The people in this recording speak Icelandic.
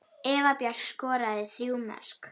Eva Björk skoraði þrjú mörk.